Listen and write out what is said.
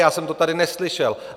Já jsem to tady neslyšel.